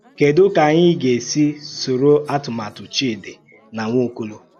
Kèdù ka ànyị gà-èsì sòrò àtụ̀màtù Chídì na Nwàọ́kòlò?